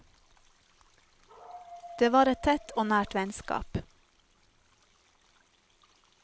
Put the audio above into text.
Det var et tett og nært vennskap.